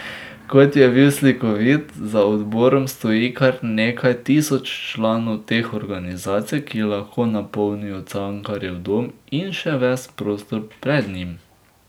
Kot je bil slikovit , za odborom stoji kar nekaj tisoč članov teh organizacij, ki lahko napolnijo Cankarjev dom in še ves prostor pred njim.